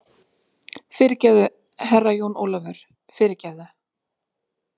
Fyrirgefðu, Herra Jón Ólafur, fyrirgefðu.